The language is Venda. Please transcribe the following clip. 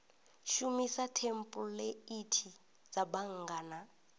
shumisa thempuleithi dza bannga na